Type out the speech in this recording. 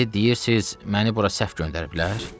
İndi deyirsiz məni bura səhv göndəriblər?